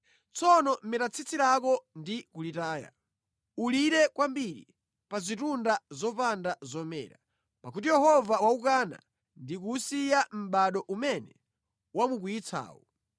“Tsono meta tsitsi lako ndi kulitaya. Ulire kwambiri pa zitunda zopanda zomera, pakuti Yehova waukana ndi kuwusiya mʼbado umene wamukwiyitsawu.”